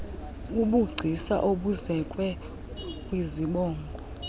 bubugcisa obuzekwe kwizibongo